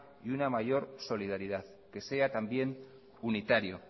y una mayor solidaridad que sea también unitario